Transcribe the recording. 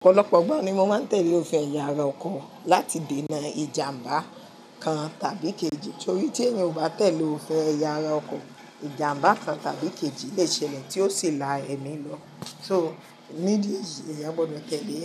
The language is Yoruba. Ọ̀pọ̀lọpọ̀ igba ni mo máa ń tẹ̀lé òfin ẹ̀yà ara ọkọ̀ láti dènà ìjàmbá kan tàbí kejì, torí tí èèyàn ò bá tẹ̀lé òfin ẹ̀yà ara ọkọ̀, ìjàmbá kan tàbí kejì lè ṣẹlẹ̀ tí ó sì la ẹ̀mí lọ. Nitori nídìí eyì, èyàn gbọ̀do tẹ́lẹ̀